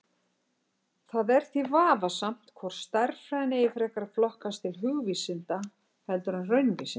Það er því vafasamt hvort stærðfræðin eigi frekar að flokkast til hugvísinda heldur en raunvísinda.